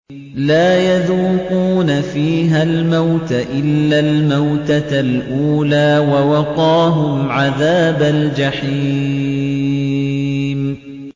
لَا يَذُوقُونَ فِيهَا الْمَوْتَ إِلَّا الْمَوْتَةَ الْأُولَىٰ ۖ وَوَقَاهُمْ عَذَابَ الْجَحِيمِ